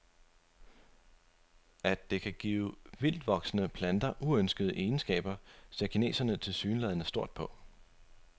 At det kan give vildtvoksende planter uønskede egenskaber, ser kineserne tilsyneladende stort på.